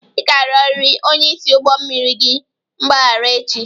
Ị ga-arịọrịrị onyeisi ụgbọ mmiri gị mgbaghara echi!